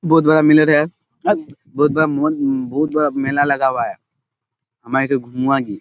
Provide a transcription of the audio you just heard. बहोत बड़ा है बहोत म बहोत बड़ा मेला लगा हुआ है। --